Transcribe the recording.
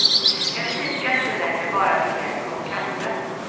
En fika är inte längre bara en slät kopp kaffe.